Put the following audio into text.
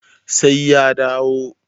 sai ya dawo